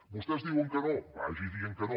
vostès diuen que no vagi dient que no